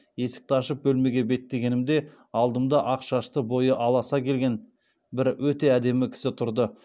есікті ашып бөлмеге беттегенімде алдымда ақ шашты бойы аласа келген бірақ өте әдемі кісі тұрды